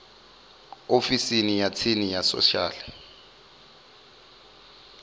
ofisini ya tsini ya social